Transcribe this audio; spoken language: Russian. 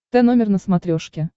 тномер на смотрешке